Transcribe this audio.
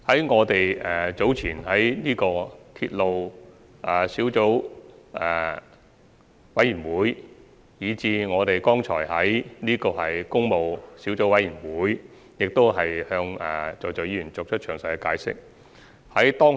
我們在早前的鐵路事宜小組委員會會議，以至剛才的工務小組委員會會議上，均已向各位議員作詳細解釋。